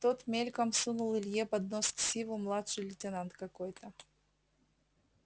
тот мельком сунул илье под нос ксиву младший лейтенант какой-то